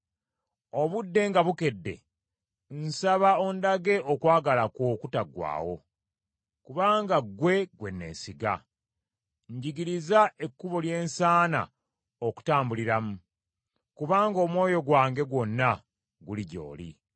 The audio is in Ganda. Obudde nga bukedde, nsaba ondage okwagala kwo okutaggwaawo; kubanga ggwe gwe neesiga. Njigiriza ekkubo lye nsaana okutambuliramu, kubanga omwoyo gwange gwonna guli gy’oli.